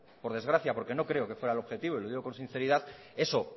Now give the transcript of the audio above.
por desgracia porque no creo que fuera el objetivo y lo digo con sinceridad eso